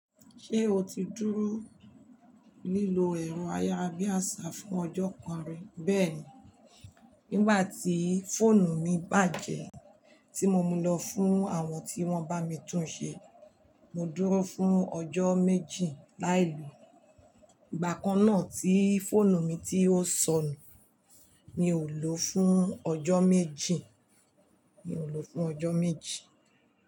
Ṣé o ti dúró lílọ ẹ̀rọ ayárabíàṣá fún ọjọ́ kan rí? Bẹ́ẹ̀ni, nígbà tí fóònù mi bàjẹ́ tí mo mu lọ fún àwọn tí wọ́n bá mi tún un ṣe, mo dúró fún ọjọ́ méjì láìlùú. Ìgbà kan náà tí fóònù mi tí ó ṣọnù mi ò ló fún ọjọ́ méjì, mi ò ló fún ọjọ́ méjì.